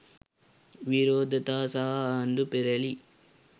විරෝධතා සහ ආණ්ඩු පෙරැළි